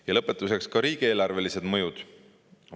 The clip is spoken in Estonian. Ja lõpetuseks, riigieelarvelised mõjud.